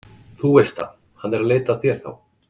þú veist það, hann er að leita að þér þá?